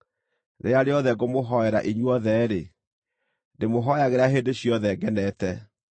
Rĩrĩa rĩothe ngũmũhoera inyuothe-rĩ, ndĩmũhooyagĩra hĩndĩ ciothe ngenete.